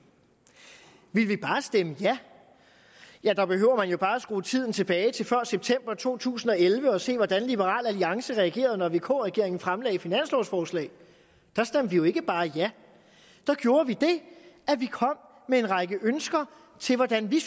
ville vi bare stemme ja der behøver man jo bare skrue tiden tilbage til før september to tusind og elleve og se hvordan liberal alliance reagerede når vk regeringen fremsatte finanslovforslag der stemte vi jo ikke bare ja der gjorde vi det at vi kom med en række ønsker til hvordan vi